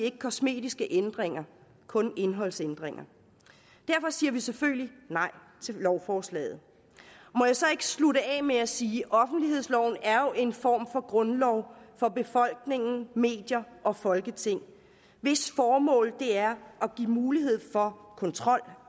ikke kosmetiske ændringer kun indholdsændringer derfor siger vi selvfølgelig nej til lovforslaget må jeg så slutte af med at sige offentlighedsloven er jo en form for grundlov for befolkningen medier og folketing hvis formål er at give mulighed for kontrol